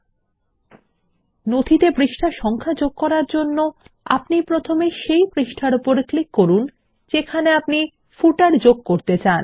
শিরলেখতে পৃষ্ঠা সংখ্যা যোগ করার জন্য আমরা প্রথমে সেই পৃষ্ঠার ওপর ক্লিক করব যেখানে আমরা পাদলেখ যোগ করতে চাই